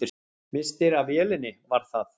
Misstir af vélinni, var það?